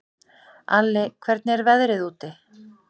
Alli, hvernig er veðrið úti?